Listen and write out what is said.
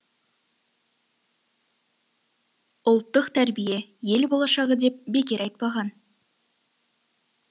ұлттық тәрбие ел болашағы деп бекер айтпаған